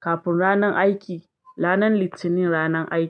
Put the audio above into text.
kafin ranan aiki, ranan Litinin ranan aiki.